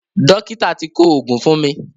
Dọ́kítà ti kọ òògùn fún mi.